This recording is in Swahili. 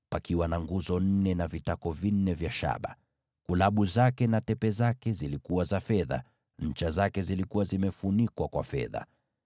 likiwa na nguzo nne na vitako vinne vya shaba. Kulabu zake na tepe zake zilikuwa za fedha, na ncha zake zilikuwa zimefunikwa kwa fedha.